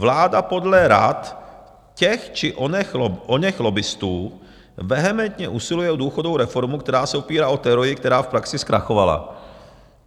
Vláda podle rad těch či oněch lobbistů vehementně usiluje o důchodovou reformu, která se opírá o teorii, která v praxi zkrachovala.